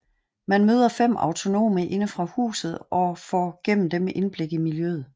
Man møder fem autonome inde fra huset og får gennem dem indblik i miljøet